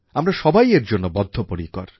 আমরা সবাই এর জন্য বদ্ধপরিকর